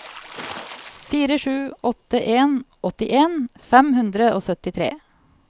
fire sju åtte en åttien fem hundre og syttitre